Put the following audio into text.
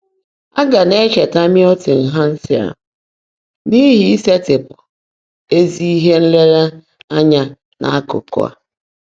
Á gá ná-ècheètaá Mị́ltọn Hèńshẹ̀l n’íhí ísèetị́pụ́ ézí íhe nlèèréényá n’ákụ́kụ́ á.